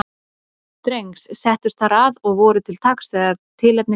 Drengs, settust þar að og voru til taks þegar tilefni gafst.